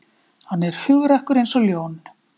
Hann er hugrakkur eins og ljón